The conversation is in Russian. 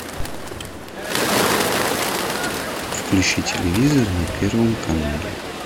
включи телевизор на первом канале